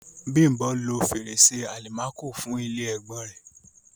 Bím̀bọ́ lo fèrèsé àlìmákò fún ilé ẹ̀gbọ́n-ọn rẹ̀.